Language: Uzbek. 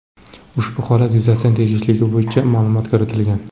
Ushbu holat yuzasidan tegishliligi bo‘yicha ma’lumot kiritilgan.